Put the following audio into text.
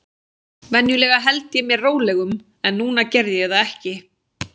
Venjulega held ég mér rólegum, en núna gerði ég það ekki.